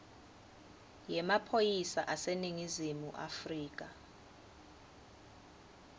yemaphoyisa aseningizimu afrika